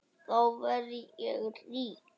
Þá verð ég rík.